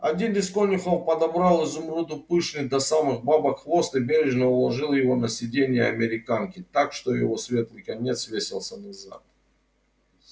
один из конюхов подобрал изумруду пышный до самых бабок хвост и бережно уложил его на сиденье американки так что его светлый конец свесился назад